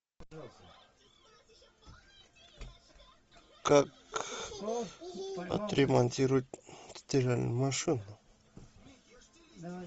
как отремонтировать стиральную машину